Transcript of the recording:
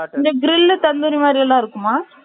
இந்த க்ரில் தந்துரி மாரி எல்லாம் இருக்குமா